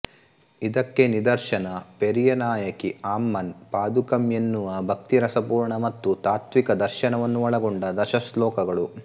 ಇದಕ್ಕೆ ನಿದರ್ಶನ ಪೆರಿಯ ನಾಯಕಿ ಆಮ್ಮನ್ ಪಾದುಕಂ ಎನ್ನುವ ಭಕ್ತಿ ರಸಪೂರ್ಣ ಮತ್ತು ತಾತ್ತ್ವಿಕದರ್ಶನವನ್ನು ಒಳಗೊಂಡ ದಶಶ್ಲೋಕಗಳು